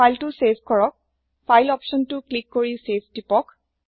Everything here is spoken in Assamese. ফাইলতো চেভ কৰক ফাইল অপচন তো ক্লিক কৰি চেভ তিপক